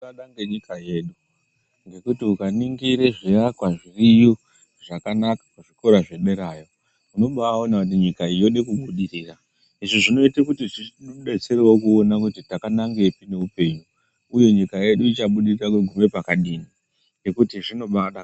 Kudada ngenyika yedu ngekuti ukaningire zviakwa zviriyo zvakanaka kuzvikora zvederayo unobawona kuti nyika iyi yode kubudirira izvi zvinoite kuti zvitidetserewo kuona kuti takanangepi neupenyu uye nyika yedu ichabudirira kugume pakadini nekuti zvinobadakadza.